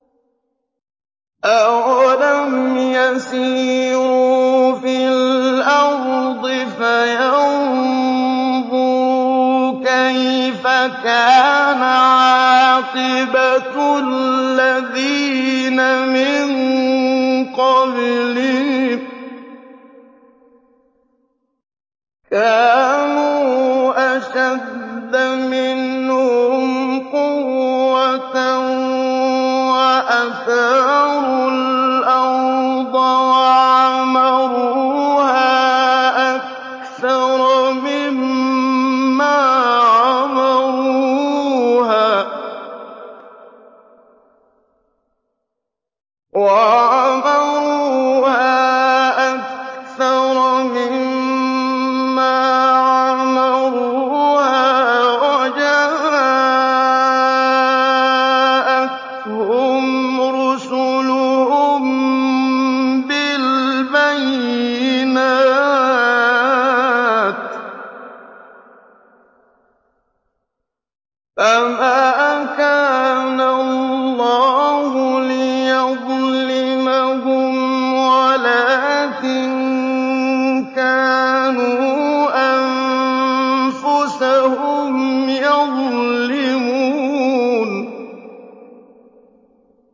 أَوَلَمْ يَسِيرُوا فِي الْأَرْضِ فَيَنظُرُوا كَيْفَ كَانَ عَاقِبَةُ الَّذِينَ مِن قَبْلِهِمْ ۚ كَانُوا أَشَدَّ مِنْهُمْ قُوَّةً وَأَثَارُوا الْأَرْضَ وَعَمَرُوهَا أَكْثَرَ مِمَّا عَمَرُوهَا وَجَاءَتْهُمْ رُسُلُهُم بِالْبَيِّنَاتِ ۖ فَمَا كَانَ اللَّهُ لِيَظْلِمَهُمْ وَلَٰكِن كَانُوا أَنفُسَهُمْ يَظْلِمُونَ